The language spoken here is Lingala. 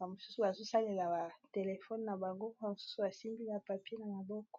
a mosusu azosalela batelefone na bango oa mosusu asimbiya papier na maboko